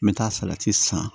N bɛ taa san